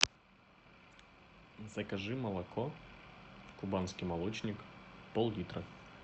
закажи молоко кубанский молочник пол литра